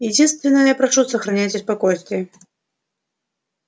единственно я прошу сохраняйте спокойствие